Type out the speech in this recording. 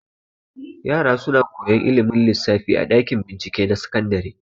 Yara suna koyan ilimin lissafi a ɗakin bincike na sakandare.